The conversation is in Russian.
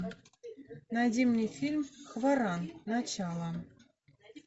найди мне фильм варан начало